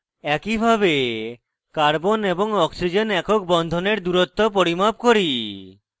একইভাবে carbon এবং oxygen একক বন্ধনের দূরত্ব পরিমাপ করি